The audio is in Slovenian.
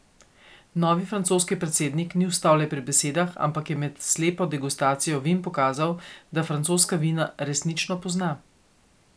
Novi francoski predsednik ni ostal le pri besedah, ampak je med slepo degustacijo vin pokazal, da francoska vina resnično pozna.